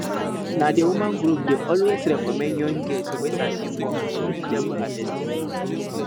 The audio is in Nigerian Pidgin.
na the women group dey always recommend young girls girls wey sabi work for vegetable harvesting